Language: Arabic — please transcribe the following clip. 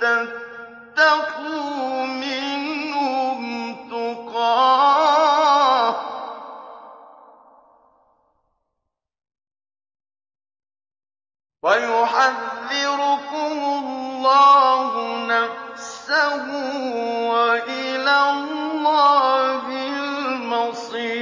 تَتَّقُوا مِنْهُمْ تُقَاةً ۗ وَيُحَذِّرُكُمُ اللَّهُ نَفْسَهُ ۗ وَإِلَى اللَّهِ الْمَصِيرُ